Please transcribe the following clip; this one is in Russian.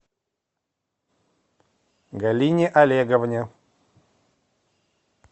галине олеговне